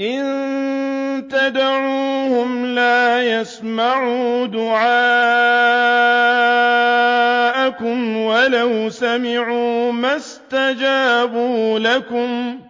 إِن تَدْعُوهُمْ لَا يَسْمَعُوا دُعَاءَكُمْ وَلَوْ سَمِعُوا مَا اسْتَجَابُوا لَكُمْ ۖ